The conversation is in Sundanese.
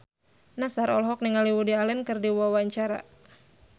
Nassar olohok ningali Woody Allen keur diwawancara